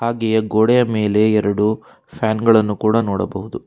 ಹಾಗೆಯೇ ಗೋಡೆಯ ಮೇಲೆ ಎರಡು ಫ್ಯಾನ್ ಗಳನ್ನು ಕೂಡ ನೋಡಬಹುದು.